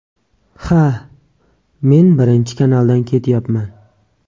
Ha, men birinchi kanaldan ketyapman.